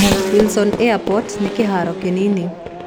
Wilson airport nĩ kĩhaaro kĩnini